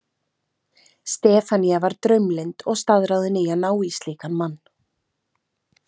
Stefanía var draumlynd og staðráðin í að ná í slíkan mann.